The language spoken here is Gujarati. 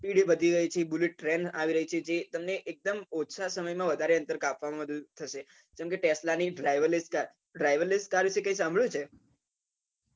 bullet ટ્રેન આવી રહી છે તે તમને એકદમ ઓછા સમય માં વધારે અંતર કાપવા માં મદદરૂપ થશે કે tesla ની driverless car driverless car વિષે કઈ સાંભળ્યું છે